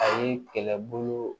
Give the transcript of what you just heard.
A ye kɛlɛbolo